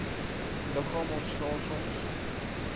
liggaam ontslae soms